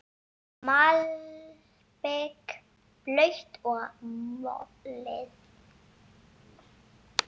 Malbik blautt og mölin.